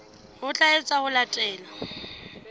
ho tla etswa ho latela